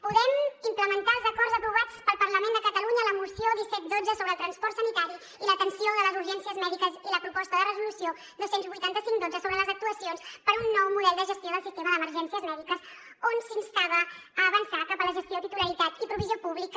podem implementar els acords aprovats pel parlament de catalunya la moció disset xii sobre el transport sanitari i l’atenció de les urgències mèdiques i la resolució dos cents i vuitanta cinc xi sobre les actuacions per a un nou model de gestió del sistema d’emergències mèdiques on s’instava a avançar cap a la gestió titularitat i provisió pública